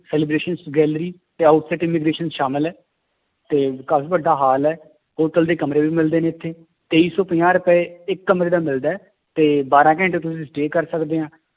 celebration gallery ਤੇ ਸ਼ਾਮਿਲ ਹੈ ਤੇ ਕਾਫ਼ੀ ਵੱਡਾ ਹਾਲ ਹੈ hotel ਦੇ ਕਮਰੇ ਵੀ ਮਿਲਦੇ ਨੇ ਇੱਥੇ, ਤੇਈ ਸੌ ਪੰਜਾਹ ਰੁਪਏ ਇੱਕ ਕਮਰੇ ਦਾ ਮਿਲਦਾ ਹੈ, ਤੇ ਬਾਰਾਂ ਘੰਟੇ ਤੁਸੀਂ stay ਕਰ ਸਕਦੇ ਹਾਂ